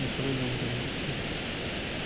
সবাই নোংরামি করতাছে